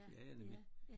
Ja ja nemlig